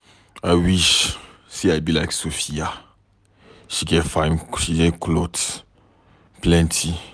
I wish say I be like Sophia, she get fine cloth plenty.